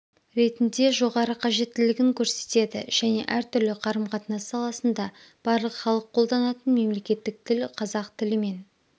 ретінде жоғары қажеттілігін көрсетеді және әртүрлі қарым-қатынас саласында барлық халық қолданатын мемлекеттік тіл қазақ тілімен